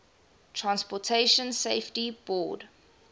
transportation safety board